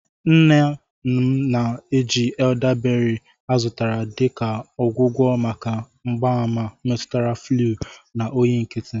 Nne m na-eji eldaberị ọ zụtara dị ka ọgwụgwọ maka mgbaàmà metụtara fluu na oyi nkịtị.